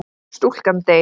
Stúlkan deyr.